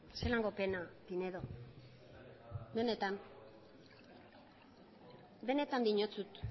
zelako pena pinedo benetan diotsut